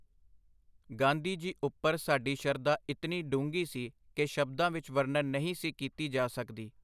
ਗਾਂਧੀ ਜੀ ਉਪਰ ਸਾਡੀ ਸ਼ਰਧਾ ਇਤਨੀ ਡੂੰਘੀ ਸੀ ਕਿ ਸ਼ਬਦਾਂ ਵਿਚ ਵਰਨਣ ਨਹੀਂ ਸੀ ਕੀਤੀ ਜਾ ਸਕਦੀ.